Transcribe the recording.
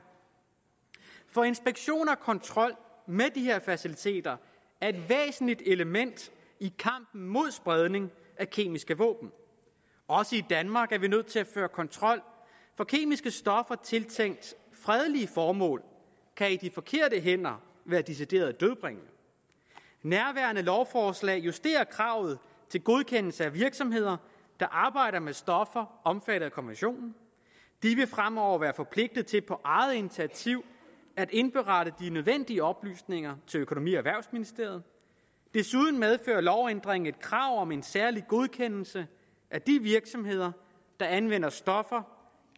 for inspektion af og kontrol med de her faciliteter er et væsentligt element i kampen mod spredning af kemiske våben også i danmark er vi nødt til at føre kontrol for kemiske stoffer tiltænkt fredelige formål kan i de forkerte hænder være decideret dødbringende nærværende lovforslag justerer kravet til godkendelse af virksomheder der arbejder med stoffer omfattet af konventionen de fremover være forpligtet til på eget initiativ at indberette de nødvendige oplysninger til økonomi og erhvervsministeriet desuden medfører lovændringen et krav om en særlig godkendelse af de virksomheder der anvender stoffer